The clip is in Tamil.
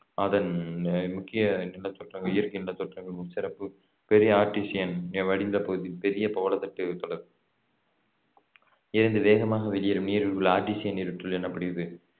அதன் அஹ் முக்கிய நிலத்தோற்றங்கள் இயற்கை நிலத்தோற்றங்கள் சிறப்பு பெரிய ஆர்ட்டிசியன் வடிநிலப்பகுதி பெரிய பவளத்திட்டு தொடர் இருந்து வேகமாக வெளியேறும் நீரில் உள்ள ஆர்ட்டிசியன் நீருற்றுள் எண்ணப்படுகிறது